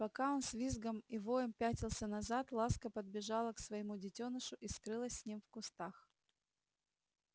пока он с визгом и воем пятился назад ласка подбежала к своему детёнышу и скрылась с ним в кустах